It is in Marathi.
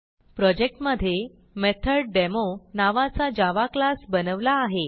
प्रोजेक्ट मधे मेथोडेमो नावाचा जावा क्लास बनवला आहे